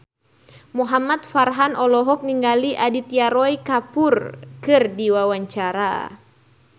Muhamad Farhan olohok ningali Aditya Roy Kapoor keur diwawancara